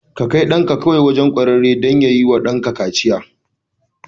Ka kai ɗanka kawai wajen kwararre don yi wa danka kaciya.